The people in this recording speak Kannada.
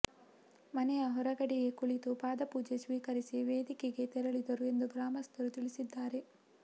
ಮನೆಯ ಹೊರಗಡೆಯೇ ಕುಳಿತು ಪಾದಪೂಜೆ ಸ್ವೀಕರಿಸಿ ವೇದಿಕೆಗೆ ತೆರಳಿದರು ಎಂದು ಗ್ರಾಮಸ್ಥರು ತಿಳಿಸಿದ್ದಾರೆ